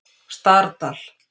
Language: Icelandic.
Stardal